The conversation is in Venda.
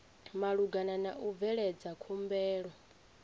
malugana na u bveledza khumbelo